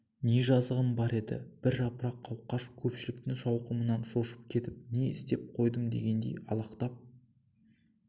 не жазығым бар еді бір жапырақ қауқаш көпшіліктің шауқымынан шошып кетіп не істеп қойдым дегендей алақтап